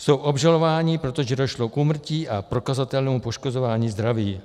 Jsou obžalováni, protože došlo k úmrtí a prokazatelnému poškozování zdraví.